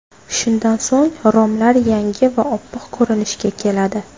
Shundan so‘ng romlar yangi va oppoq ko‘rinishga keladi.